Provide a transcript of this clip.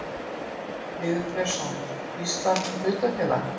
Lýður Björnsson: Íslands hlutafélag.